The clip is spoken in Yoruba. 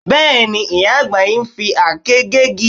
Bẹ́ẹ̀, ìyá àgbà ń fi àáké gé igi